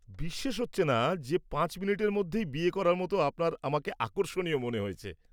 বিশ্বাস হচ্ছেনা যে ৫ মিনিটের মধ্যেই বিয়ে করার মত আপনার আমাকে আকর্ষণীয় মনে হয়েছে।